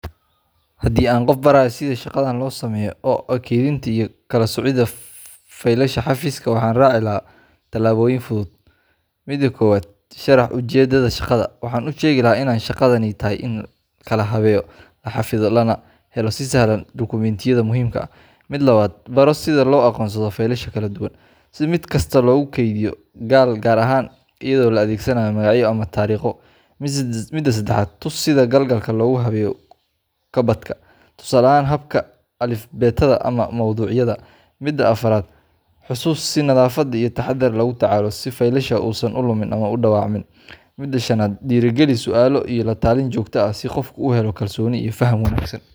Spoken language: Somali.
Haddii aan qof barayo sida shaqadan loo sameeyo oo ah kaydinta iyo kala soocidda faylasha xafiiska waxaan raaci lahaa talaabooyinkan fudud: Mida kowaad, Sharax ujeeddada shaqada ,Waxaan u sheegi lahaa in shaqadani tahay in la kala habeeyo, la xafido, lana helo si sahlan dukumiintiyada muhiimka ah. Mid labaad, Baro sida loo aqoonsado faylasha kala duwan , Sida mid kasta loogu kaydiyo gal gaar ah, iyadoo la adeegsanayo magacyo ama taariikho. Mida sedexaad, Tuso sida galalka loogu habeeyo kabadhka ,Tusaale ahaan, habka alifbeetada ama mowduucyada. Mida afaraad, Xusuus sii in nadaafad iyo taxaddar lagula tacaalo ,Si faylasha uusan u lumin ama u dhaawacmin. Mida shanaad, Dhiirrigeli su'aalo iyo la talin joogto ah ,Si qofku u helo kalsooni iyo faham wanaagsan.